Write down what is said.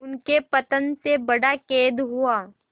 उनके पतन से बड़ा खेद हुआ